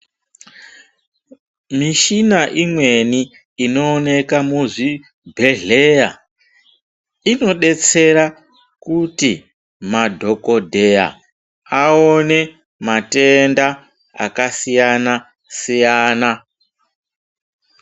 Mishina imweni, inooneka muzvibhedhleya, inodetsera kuti madhokodheya aone matenda akasiyana-siyana.